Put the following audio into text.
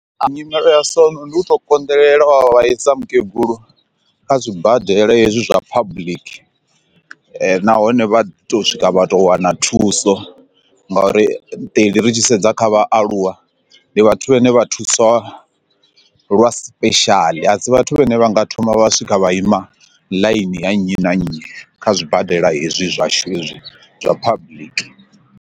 Nyimele ya so ndi u to konḓelela wa vhaisa mukegulu kha zwibadela hezwi zwa public nahone vha to swika vha to wana thuso nga uri iṱeli ri tshi sedza kha vhathu a aluwa ndi vhathu vhane vha thusa lwa special a si vhathu vhane vha nga thoma vha swika vha ima ḽaini ya nnyi na nnyi kha zwibadela hezwi zwashu hezwi zwa public.